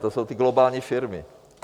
To jsou ty globální firmy.